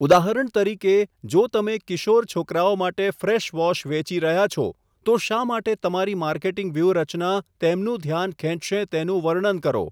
ઉદાહરણ તરીકે, જો તમે કિશોર છોકરાઓ માટે ફ્રેશ વોશ વેચી રહ્યા છો, તો શા માટે તમારી માર્કેટિંગ વ્યૂહરચના તેમનું ધ્યાન ખેંચશે તેનું વર્ણન કરો.